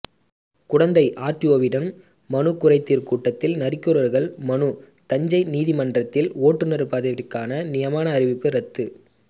குடந்தை ஆர்டிஓவிடம் மனு குறைதீர் கூட்டத்தில் நரிக்குறவர்கள் மனு தஞ்சை நீதிமன்றத்தில் ஓட்டுனர் பதவிக்கான நியமன அறிவிப்பு ரத்து